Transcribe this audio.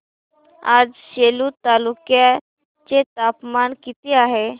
आज सेलू तालुक्या चे तापमान किती आहे